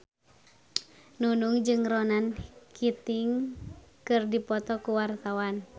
Nunung jeung Ronan Keating keur dipoto ku wartawan